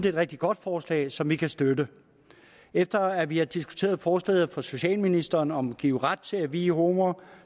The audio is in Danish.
et rigtig godt forslag som vi kan støtte efter at vi har diskuteret forslaget fra socialministeren om at give ret til at vie homoer